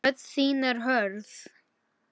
Rödd þín er hörð.